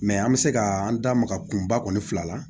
Mɛ an bɛ se ka an da maga kunba kɔni fila la